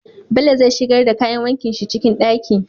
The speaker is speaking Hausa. Bello zai shigar da kayan wankin shi ciki ɗaki